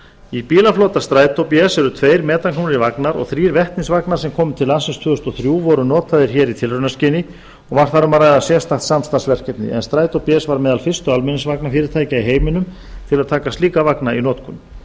í bílaflota strætó bs eru tveir metanknúnir vagnar og þrír vetnisvagnar sem komu til landsins tvö þúsund og þrjú og voru notaðir hér í tilraunaskyni var þar um að ræða sérstakt samstarfsverkefni en strætó bs var meðal fyrstu almenningsvagnafyrirtækja í heiminum til að taka slíka vagna í notkun